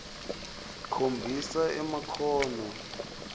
khombisa emakhono ekuhlelela